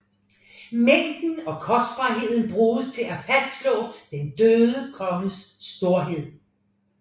Mængden og kostbarheden bruges til at fastslå den døde konges storhed